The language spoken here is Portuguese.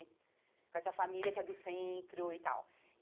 Com essa família que é do centro e tal.